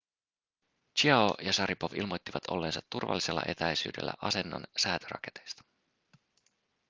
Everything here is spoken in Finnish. chiao ja šaripov ilmoittivat olleensa turvallisella etäisyydellä asennon säätöraketeista